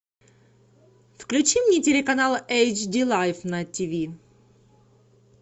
включи мне телеканал эйч ди лайф на тиви